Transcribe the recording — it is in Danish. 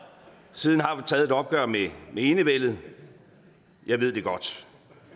siden har vi taget et opgør med enevælden det ved jeg godt